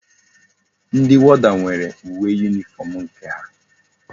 Ndi warder nwere uwe uniform nke ha